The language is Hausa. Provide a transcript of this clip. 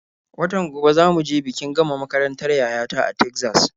Watan gobe za mu je bikin gama makarantar yaya ta a Tegzas.